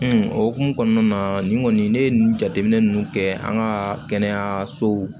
o hokumu kɔnɔna na nin kɔni ne ye nin jateminɛ ninnu kɛ an ka kɛnɛyasow